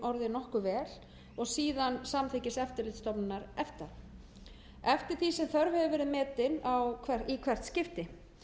nokkuð vel og síðan samþykkis eftirlitsstofnunar efta eftir því sem þörf hefur verið metin í hvert skipti